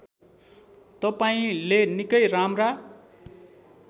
तपाईँंले निकै राम्रा